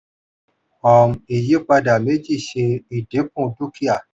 um ìyípadà méjì ṣe ìdínkù dúkìá.